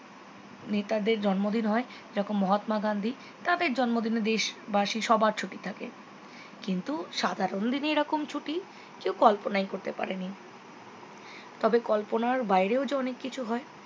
নেতাদের জন্মদিন হয় যেমন মহাত্মা গান্ধী তাদের জন্মদিনে দেশবাসী সবার ছুটি থাকে কিন্তু সাধারণ দিনে এইরকম ছুটি কেউ কল্পনাই করতে পারেনি কিন্তু কল্পনার বাইরেও যে অনেক কিছু হয়